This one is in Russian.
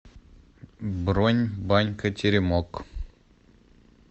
бронь банька теремок